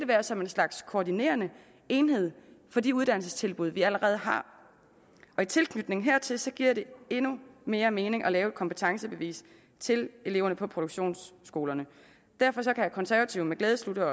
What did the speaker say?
være som en slags koordinerende enhed for de uddannelsestilbud vi allerede har og i tilknytning hertil giver det endnu mere mening at lave et kompetencebevis til eleverne på produktionsskolerne derfor kan konservative med glæde slutte